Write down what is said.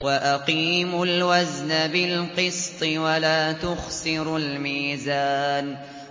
وَأَقِيمُوا الْوَزْنَ بِالْقِسْطِ وَلَا تُخْسِرُوا الْمِيزَانَ